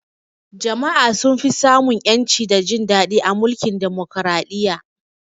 Jama'a sun fi sa mun ƴanci da jin daɗi a mulkin Demokaraɗiyya